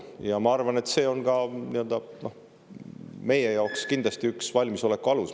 Ja ma arvan, et see on meie jaoks kindlasti üks valmisoleku alus.